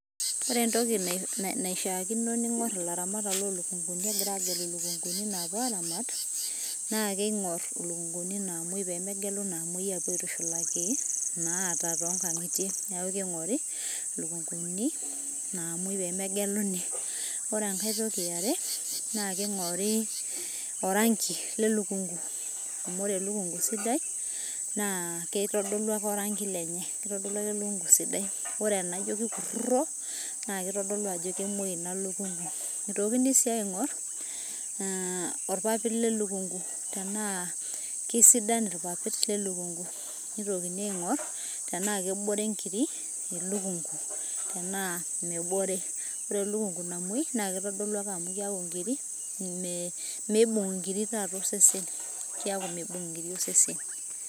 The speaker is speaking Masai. Ore entoki naishaakino ning'or ilaramatak lo lukunkuni egira agelu lukunkuni napuo aramat, naa kiing'or ilukunkuni namoi pemegelu naamoi apuo aitushulaki inaata tonkang'itie. Neeku king'ori lukunkuni namoi pemegeluni. Ore enkae toki eare, naa king'ori oranki le lukunku. Amu ore elukunku sidai, naa keitodolu ake oranki lenye. Kitodolu ake elukunku sidai. Ore enaijo kikurrurro, na kitodolu ajo kemoi ina lukunku. Itokini si aing'or, orpapit le lukunku. Tenaa kesidan irpapit le lukunku. Neitokini aing'or, tenaa kebore inkiri elukunku. Tenaa mebore. Ore elukunku namoi, na kitodolu ake amu keeku nkiri, me meibung' inkiri taata osesen. Keeku meibung' inkiri osesen.